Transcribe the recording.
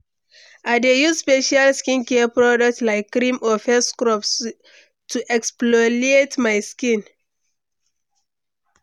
I dey use special skincare product, like cream or face scrub to exfoliate my skin.